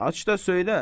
aç da söylə!